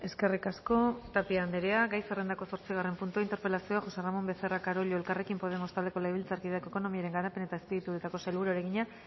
eskerrik asko tapia andrea gai zerrendako zortzigarren puntua interpelazioa josé ramón becerra carollo elkarrekin podemos taldeko legebiltzarkideak ekonomiaren garapen eta azpiegituretako sailburuari egina